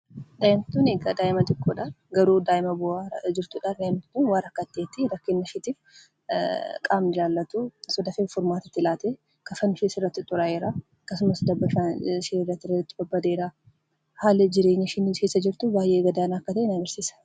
Daa'imni Kun daa'ima xiqqoodha. Garuu daa'ima boo'aa jirtudha. Daa'imni Kun waa rakkatteettii, kafanni ishee irratti xuraa'eera, akkasumas dabbasaan ishee badeera. Haalli jireenya ishee keessa jirtu baayyee gad aanaa jirtudha.